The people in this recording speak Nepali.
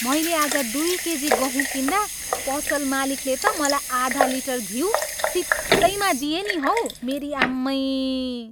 मैले आज दुई केजी गहुँ किन्दा पसल मालिकले त मलाई आधा लिटर घिउ सित्तैमा दिए नि हौ। मेरी आम्मै!